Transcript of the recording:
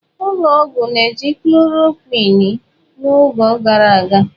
Ụlọ ọgwụ na-eji chlọrọquin n'oge gara aga.